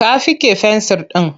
Ta fiƙe fensir ɗin.